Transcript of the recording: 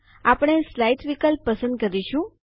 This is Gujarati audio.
આપણે સ્લાઇડ્સ વિકલ્પ પસંદ કરીશું